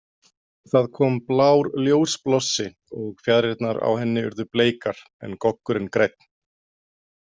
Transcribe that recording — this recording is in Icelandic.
Það kom blár ljósblossi og fjaðrirnar á henni urðu bleikar en goggurinn grænn.